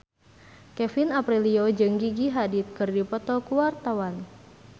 Kevin Aprilio jeung Gigi Hadid keur dipoto ku wartawan